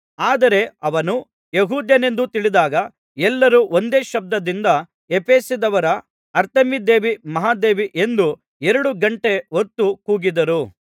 ಆದರೆ ಅವನು ಯೆಹೂದ್ಯನೆಂದು ತಿಳಿದಾಗ ಎಲ್ಲರೂ ಒಂದೇ ಶಬ್ದದಿಂದ ಎಫೆಸದವರ ಅರ್ತೆಮೀದೇವಿ ಮಹಾದೇವಿ ಎಂದು ಎರಡು ಘಂಟೆ ಹೊತ್ತು ಕೂಗಿದರು